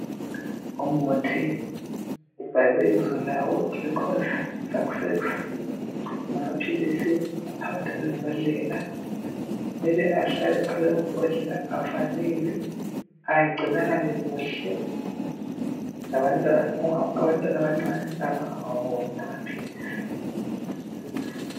Umuthi ubhalwe ibizo lawo,"glucose success".Amaphilisi aphakathi kwembodlela mele ahlale phakathi kwembodlela avalelwe agcinakale kuhle, abantwana abancane bangawaboni amaphilisi.